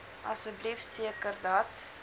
asseblief seker dat